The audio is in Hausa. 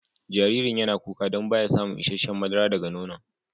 Jaririn yana kuka dan ba ya samun isheshe'n madara daga nono'n.